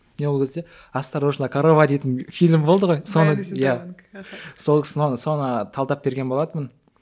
мен ол кезде осторожна корова дейтін фильм болды ғой соны талдап берген болатынмын